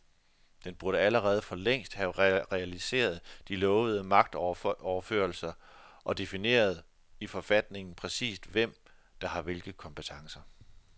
Den burde allerede for længst have realiseret de lovede magtoverførsler og defineret i forfatningen præcist hvem, der har hvilke kompetencer.